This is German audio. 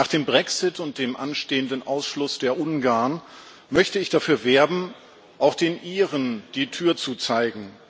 Nach dem Brexit und dem anstehenden Ausschluss der Ungarn möchte ich dafür werben, auch den Iren die Tür zu zeigen.